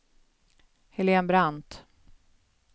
Helen Brandt